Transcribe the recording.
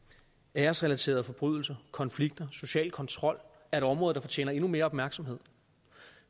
æresrelaterede forbrydelser konflikter og social kontrol er et område der fortjener endnu mere opmærksomhed